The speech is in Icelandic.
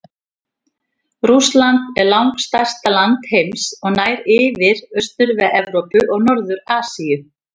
Rússland er langstærsta land heims og nær yfir Austur-Evrópu og Norður-Asíu.